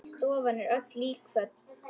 Stofan er öll líkföl.